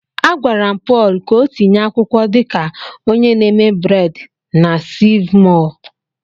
Agwara m Paul ka o tinye akwụkwọ dị ka onye na-eme bred na Seev mọọ.